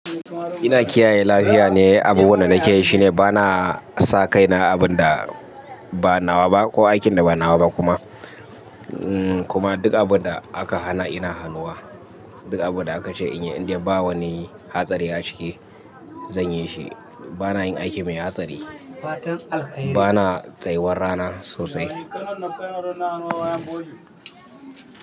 Ina kiyaye lafiya ne, abubuwan da nake yi shine ba na sa kaina abin da ba nawa ba ko aikin da ba nawa ba kuma. Kuma duk abun da aka hana ina hanuwa. Duk abun da aka ce in yi indai ba wani hatsari a ciki zan yi shi. Ba na yin aiki mai hatsari. Ba na tsayuwar rana sosai.